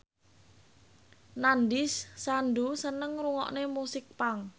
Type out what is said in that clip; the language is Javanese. Nandish Sandhu seneng ngrungokne musik punk